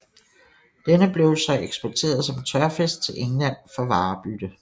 Denne blev så eksporteret som tørfisk til England for varebytte